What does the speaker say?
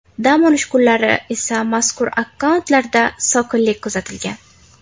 Dam olish kunlari esa mazkur akkauntlarda sokinlik kuzatilgan.